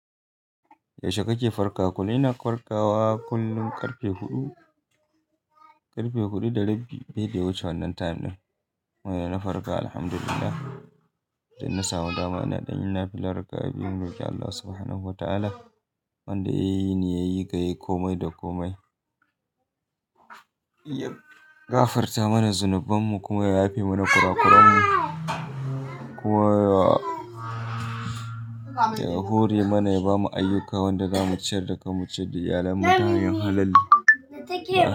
Yaushe kake farka? Ina farkawa kullum ƙarfe huɗu, ƙarfe huɗu da rabi. Bede wuce wannan time ɗin. Wai na farka alhamdulillah, idan na samu dama ina ɗan yin nafila raka'a biyu ga Allah Subhanahu wa ta'ala Wanda yayi ni yayi ka yayi komai da komai. Ya gafarata mana zunubanmu kuma ya yafe mana kurakuranmu kuma Ya hore mana ya bamu ayyuka wanda zamu ciyar da kanmu ciyar da iyalanmu ta hanyar halal.